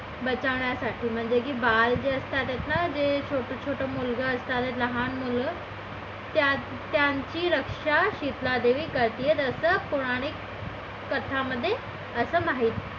बचावण्यासाठी म्हणजे की बाळ जे असतात ना जे छोटे छोटे मुलगा असतात लहान मुलं त्यांची रक्षा शितलादेवी करते असं पौराणिक कथांमध्ये असं माहिती